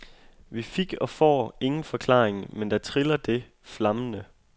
Vi fik og får ingen forklaring, men der triller det, flammende.